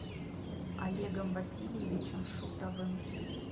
олегом васильевичем шутовым